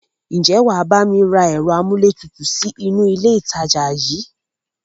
Ǹjẹ́ wàá bá mi rá ẹ̀rọ amúlétutù sì inú ilé ìtajà yìí?